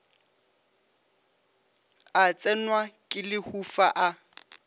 a tsenwa ke lehufa a